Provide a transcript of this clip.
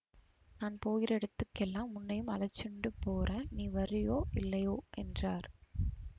நான் போகிற இடத்துக்கெல்லாம் உன்னையும் அழைச்சுண்டு போறேன் நீ வர்றயோ இல்லையோ என்றார்